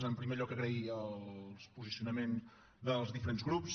en primer lloc agrair el posicionament dels diferents grups